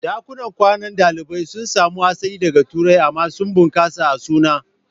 Ɗakunan kwanan ɗalibai sun samo asali daga Turai amma sun bunƙasa a suna.